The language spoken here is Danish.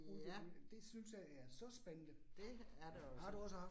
Ja. Det er det også